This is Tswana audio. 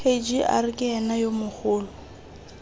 kgr ke ena yo mogolo